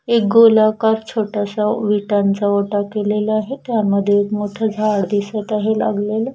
एक गोलाकार छोटाश्या विटांचा ओटा केलेला आहे त्यामध्ये एक मोठ झाड दिसत आहे लागलेल.